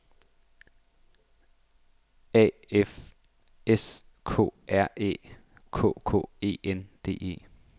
A F S K R Æ K K E N D E